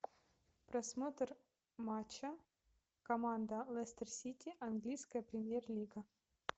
просмотр матча команда лестер сити английская премьер лига